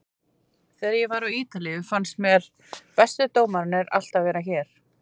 Þegar ég var á Ítalíu fannst mér bestu dómararnir alltaf vera hér.